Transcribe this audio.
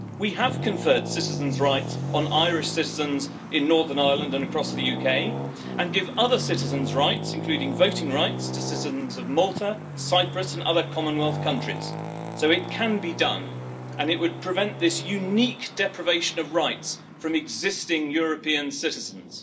We have conferred citizens' rights on Irish citizens in Northern Ireland and across the UK, and give other citizens' rights including voting rights to citizens of Malta, Cyprus and other Commonwealth countries. So it can be done, and it would prevent this unique deprivation of rights from existing European citizens.